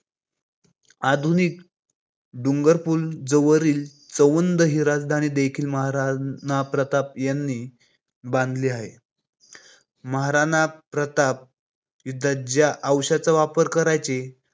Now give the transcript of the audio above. आधुनिक डूंगरपुर जवळील चवंद हि राजधानी देखील महाराणा प्रताप यांनी बांधली आहे. महाराणा प्रताप यांचा लाडका अश्व चेतक महाराणा प्रताप युद्धात ज्या अश्वाचा वापर करायचे